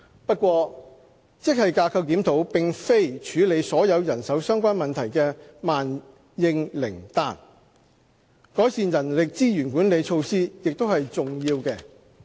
不過，職系架構檢討並非處理所有人手相關問題的萬應靈丹，改善人力資源管理措施也是重要的。